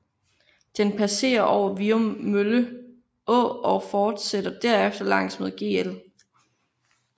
Den passere over Viummølle Å og forsætter derefter langs med Gl